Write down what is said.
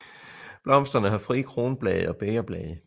Blomsterne har frie kronblade og bægerblade